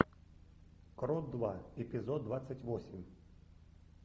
крот два эпизод двадцать восемь